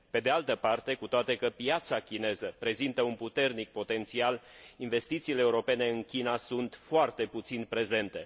Pe de altă parte, cu toate că piața chineză prezintă un puternic potențial, investițiile europene în China sunt foarte puțin prezente.